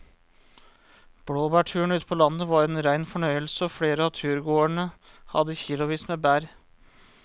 Blåbærturen ute på landet var en rein fornøyelse og flere av turgåerene hadde kilosvis med bær.